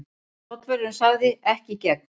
Tollvörðurinn sagði: Ekki í gegn.